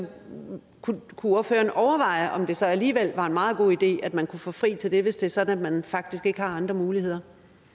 kunne ordføreren overveje om det så alligevel var en meget god idé at man kunne få fri til det hvis det er sådan at man faktisk ikke har andre muligheder